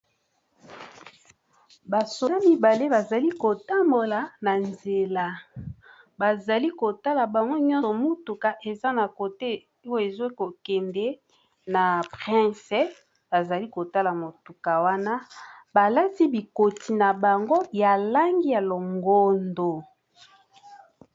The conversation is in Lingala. Ba soda mibale bazali kotambola na nzela pene ya balabala ya monene. Bus eza pe koleka. Balati bikoti ya langi ya longondo.